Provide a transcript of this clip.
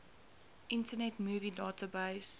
internet movie database